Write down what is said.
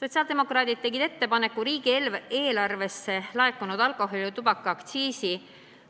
Sotsiaaldemokraadid tegid ettepaneku, et riigieelarvesse laekunud alkoholi- ja tubakaaktsiisist